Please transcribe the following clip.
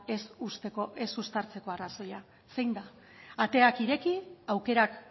ez uztartzeko arrazoia zein da ateak ireki aukerak